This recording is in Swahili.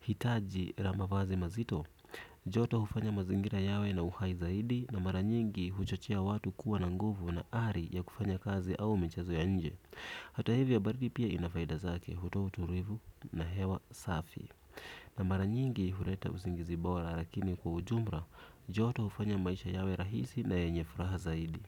hitaji la mavazi mazito joto hufanya mazingira yawe na uhai zaidi na mara nyingi huchochea watu kuwa na nguvu na ari ya kufanya michezo ya nje. Hata hivyo baridi pia ina faida zake hutoa utulivu na hewa safi na mara nyingi huleta usingizi bora na mara nyingi kwa ujumla joto hufanya maisha yawe rahisi na yenye furaha zaidi.